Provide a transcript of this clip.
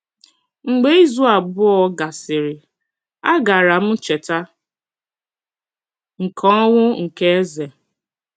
Mgbe izu abụọ gasịrị, agara m Ncheta nke Ọnwụ nke Eze